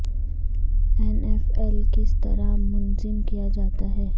N F L کس طرح منظم کیا جاتا ہے